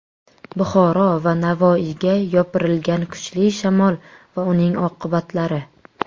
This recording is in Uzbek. Buxoro va Navoiyga yopirilgan kuchli shamol va uning oqibatlari.